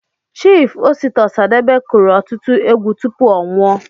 Chief Osita Osadebe kụrụ ọtụtụ egwu tụpụ ọ nwụọ